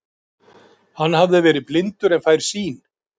Hann hafði verið blindur en fær sýn.